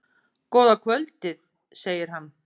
Góða kvöldið, segir hann.